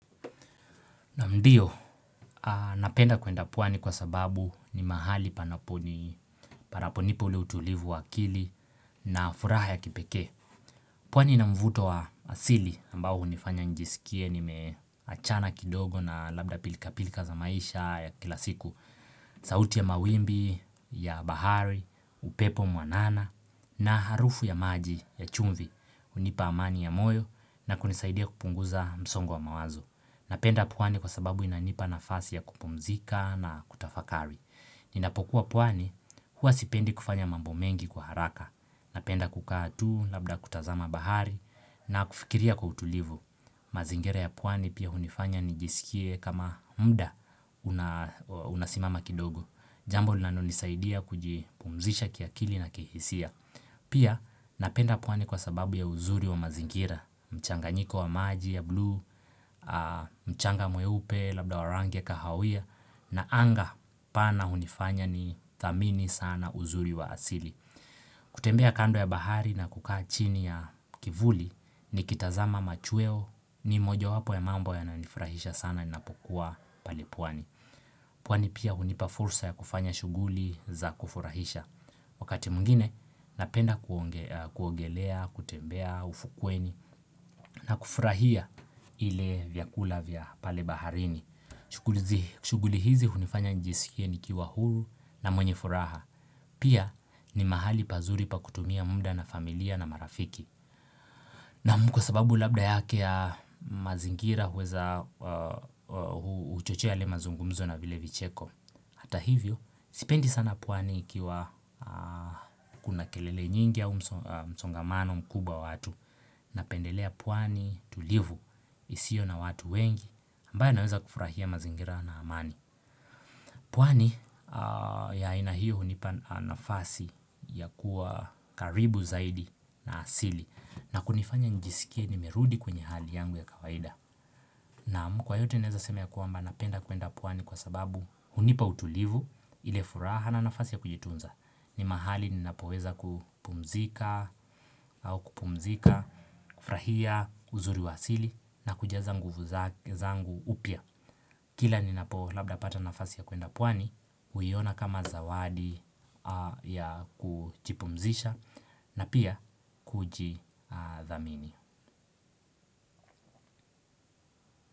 Naam ndio, napenda kuenda pwani kwa sababu ni mahali panaponipa ule utulivu wa akili na furaha ya kipeke. Pwani inamvuto wa asili ambao hunifanya njisikie nimeachana kidogo na labda pilika pilika za maisha ya kilasiku. Sauti ya mawimbi, ya bahari, upepo mwanana na harufu ya maji ya chumvi hunipa amani ya moyo na kunisaidia kupunguza msongo wa mawazo. Napenda pwani kwa sababu inanipa na fasi ya kupumzika na kutafakari. Ninapokuwa pwani, huwa sipendi kufanya mambo mengi kwa haraka. Napenda kukatu, labda kutazama bahari, na kufikiria kwa utulivu. Mazingira ya puwani pia hunifanya nijisikie kama muda unasimama kidogo. Jambo linalonisaidia kujipumzisha kiakili na kihisia. Pia napenda pwani kwa sababu ya uzuri wa mazingira. Mchanganyiko wa maji ya bluu, mchanga mweupe labda wa rangi ya kahawia na anga pana hunifanya ni thamini sana uzuri wa asili kutembea kando ya bahari na kukaa chini ya kivuli ni kitazama machweo ni moja wapo ya mambo yananifurahisha sana ninapokuwa pale pwani pwani pia hunipa fursa ya kufanya shuguli za kufurahisha Wakati mwingine napenda kuogelea, kutembea, ufukweni na kufurahia ile vyakula vya pale baharini. Shuguli hizi hunifanya njisikie ni kiwa huru na mwenye furaha. Pia ni mahali pazuri pa kutumia muda na familia na marafiki. Naamu, kwa sababu labda yake ya mazingira huweza huchochea yale mazungumzo na vile vicheko. Hata hivyo, sipendi sana pwani ikiwa kuna kelele nyingi ya msongamano mkubwa wa watu na pendelea pwani tulivu isio na watu wengi ambayo naweza kufurahia mazingira na amani. Pwani ya aina hiyo hunipa nafasi ya kuwa karibu zaidi na asili na kunifanya njisikie nimerudi kwenye hali yangu ya kawaida. Naam, kwa yote naeza seme ya kwamba napenda kuenda pwani kwa sababu hunipa utulivu ile furaha na nafasi ya kujitunza. Ni mahali ninapoweza kupumzika au kupumzika, kufurahia uzuri wa asili na kujaza zangu upya. Kila ninapoweza labda pata nafasi ya kuenda puani, huiona kama zawadi ya kujipumzisha na pia kujidhamini.